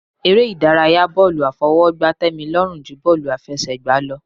Eré ìdárayá bọ́ọ̀lù àfọwọ́gbá tẹ́mi lọ́rùn ju bọ́ọ̀lù àfẹsẹ̀gbá lọ.